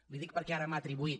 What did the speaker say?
li ho dic perquè ara m’ha atribuït